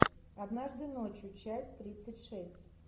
однажды ночью часть тридцать шесть